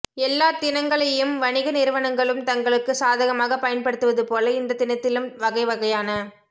எல்லாத்தினங்களையும் வணிக நிறுவனங்களும் தங்களுக்கு சாதகமாக பயன்படுத்துவது போல இந்த தினத்திலும் வகை வகையான